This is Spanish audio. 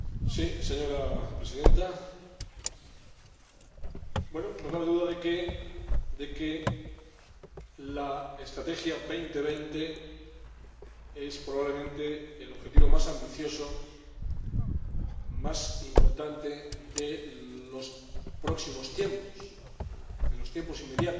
Señora Presidenta, no cabe duda de que la Estrategia 2020 es, probablemente, el objetivo más ambicioso, más importante, de los próximos tiempos, de los tiempos inmediatos